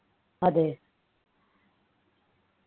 അതെ